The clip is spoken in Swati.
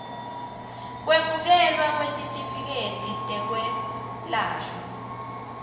kwemukelwa kwetitifiketi tetekwelashwa